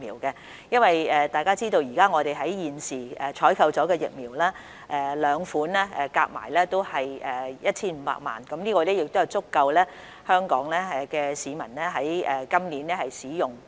大家都知道，我們現時採購的兩款疫苗總數為 1,500 萬劑，這數量足夠香港市民今年使用。